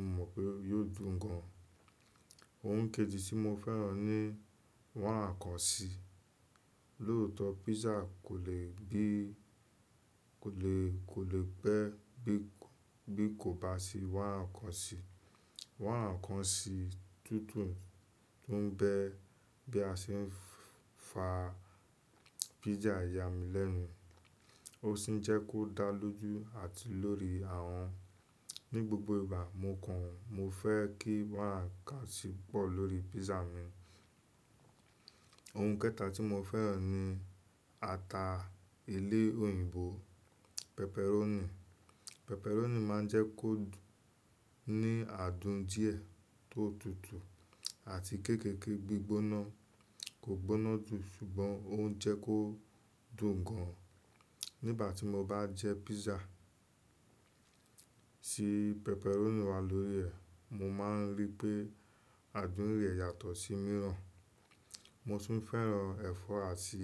mo mọ̀ pé yio dùn gan. Ohun kejì tí mo fẹ́ràn ni wáìnì kan sí. Lóòtọ́, pizza kò le bẹ́ bí kò bá sí wá ǹkan sí. Wá n kan sí tútù ń bẹ bí a ṣe ń fa pizza yà mí lẹ́nu, ó sì ń jẹ́ kó dá lójú àti lórí àwọ̀n. Ni gbogbo ìgbà mo kàn án, mo fẹ́ kí wá n kan sí pọ̀ lórí pizza mi. Ohun kẹta tí mo fẹ́ràn ni ata ilé òyìnbó pepperoni. Pepperoni máa ń jẹ́ kó ní àádùn díẹ̀ tó tutù àti kéékèèké gbígbóná. Kò gbóná dùn, ṣùgbọ́n ó ń jẹ́ kó dùn gan an. Nígbà tí mo bá jẹ́ pizza tí pepperoni wà lórí rẹ̀, mo máa ń rí pé àádùn rẹ̀ yàtọ̀ sí mìíràn. Mo sì ń fẹ́ràn ẹ̀fọ́ àti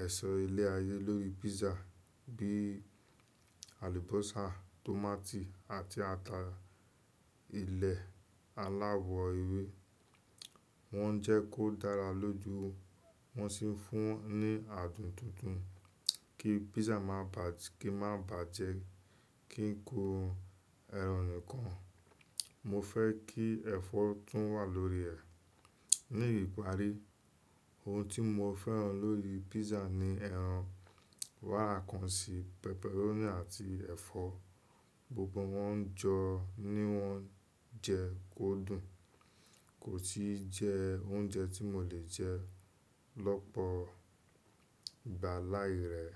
èso ilé ayé lórí pizza bí i àlùbọ́sà, tòmátì àti ata ilẹ̀ aláwọ̀ ewé. Wọ́n ń jẹ́ kó dára lójú, wọ́n sì ń fún un ní àádùn tuntun kí pizza má bà jẹ́ kí ń kọ ẹran nìkan. Mo fẹ́ kí ẹ̀fọ́ tún wà lórí rẹ̀. Ní ìparí, ohun tí mo fẹ́ràn lórí pizza ni ẹran, wáìnì kan sì, pepperoni àti ẹ̀fọ́. Gbogbo wọ́n jọ ni wọ́n jẹ́ kó dùn, kò sì jẹ́ oúnjẹ tí mo le jẹ́ lọ́pọ̀ ìgbà láì rẹ́.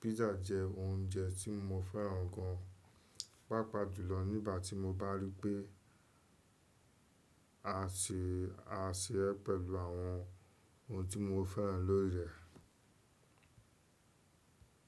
Pizza jẹ́ oúnjẹ tí mo fẹ́ràn gan papọ̀ jùlọ nígbà tí mo bá rí pé a se é pẹ̀lú àwọn ohun tí mo fẹ́ràn lórí rẹ̀.